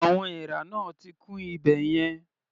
Àwọn èèrà náà ti kún ibẹ̀ yẹn.